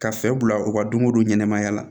Ka fɛɛrɛ bila u ka donko ɲɛnɛmaya la